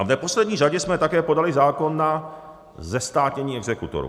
A v neposlední řadě jsme také podali zákon na zestátnění exekutorů.